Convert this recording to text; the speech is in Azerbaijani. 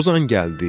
Ozan gəldi.